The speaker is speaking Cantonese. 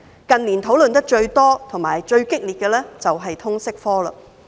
近年討論最多和最激烈的是通識科。